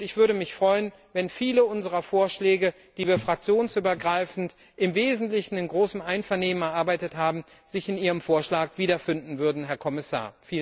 Ich würde mich freuen, wenn sich viele unserer Vorschläge, die wir fraktionsübergreifend im Wesentlichen in großem Einvernehmen erarbeitet haben, in Ihrem Vorschlag wiederfinden würden, Herr Kommissar.